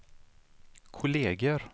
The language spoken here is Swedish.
kolleger